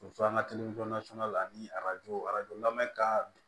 Muso an ka la ani arajo arajo lamɛn ka